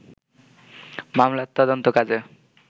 মামলার তদন্ত কাজে